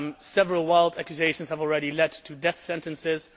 Several wild accusations have already led to death sentences.